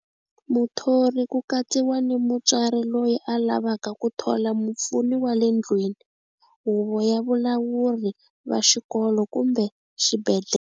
Muthori ku katsiwa ni mutswari loyi a lavaka ku thola mupfuni wa le ndlwini, huvo ya valawuri va xikolo kumbe xibendhlele.